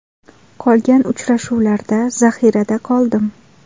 Qolgan uchrashuvlarda zaxirada qoldim.